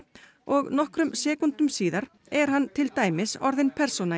og nokkrum sekúndum síðar er hann til dæmis orðinn persóna í